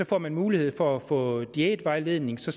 får man mulighed for at få diætvejledning så